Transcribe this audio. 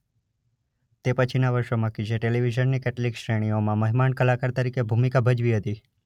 તે પછીના વર્ષોમાં કીઝે ટેલિવિઝનની કેટલીક શ્રેણીઓમાં મહેમાન કલાકાર તરીકે ભૂમિકા ભજવી હતી